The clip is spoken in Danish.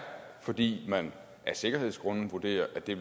fordi man af sikkerhedsgrunde vurderer at det